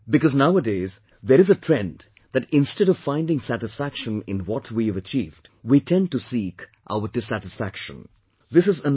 Because nowadays there is a trend that instead of finding satisfaction in what we have achieved, we tend to express our dissatisfaction in not achieving unrealistic goals